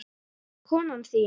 Konan þín?